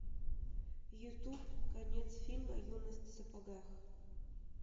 ютуб конец фильма юность в сапогах